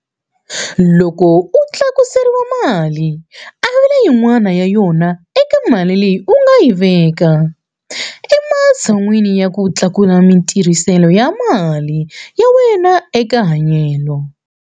Loko u tlakuseriwa mali, avela yin'wana ya yona eka mali leyi u nga ta yi veka ematshan'weni ya ku tlakusa matirhiselo ya mali ya wena eka hanyelo.